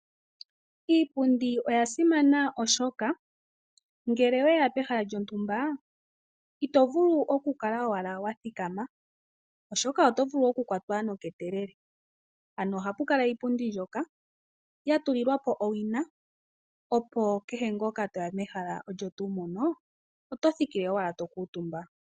Iipundi oya simana, oshoka ngele oweya pehala lyontumba ito vulu oku kala owala wa thikama, oshoka oto vulu oku kwatwa noketelele ano ohapu kala iipundi mbyoka ya tulilwa po owina opo kehe ngoka toya mehala moka oto thikile owala to kuuntumba.